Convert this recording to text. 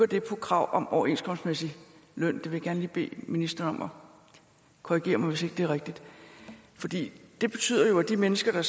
det på krav om overenskomstmæssig løn jeg vil gerne bede ministeren om at korrigere mig hvis ikke det er rigtigt det betyder jo at de mennesker